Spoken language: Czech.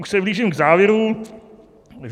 Už se blížím k závěru.